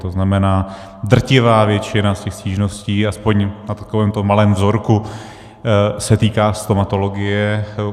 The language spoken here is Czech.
To znamená, drtivá většina z těch stížností aspoň na takovémto malém vzorku se týká stomatologie.